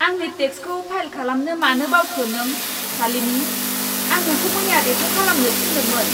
आंनि टेक्सखौ फाइल खालामनो मानो बावखो नों, शालिनि? आं नोंखौ मैया बेखौ खालामनो थिन्दोंमोन।